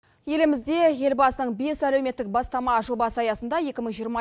елімізде елбасының бес әлеуметтік бастама жобасы аясында екі мың жиырма